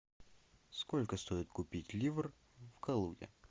сколько стоит купить ливр в калуге